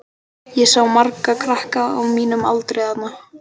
Ég sá marga krakka á mínum aldri þarna.